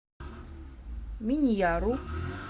миньяру